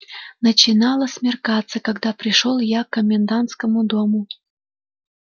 начинало смеркаться когда пришёл я к комендантскому дому